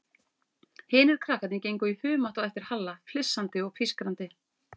Hinir krakkarnir gengu í humátt á eftir Halla, flissandi og pískrandi.